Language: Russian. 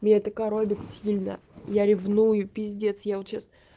меня так коробит сильно я ревную пиздея я вот сейчас